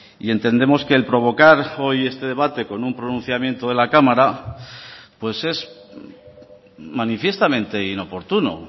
y entendemos que el provocar hoy este debate con un pronunciamiento de la cámara pues es manifiestamente inoportuno